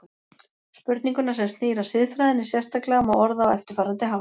Spurninguna sem snýr að siðfræðinni sérstaklega má orða á eftirfarandi hátt